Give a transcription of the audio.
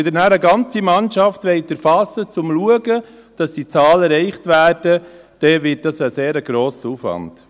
Wenn sie nachher eine ganze Mannschaft erfassen wollen, um zu sehen, dass die Zahlen erreicht werden, wird dies ein sehr grosser Aufwand.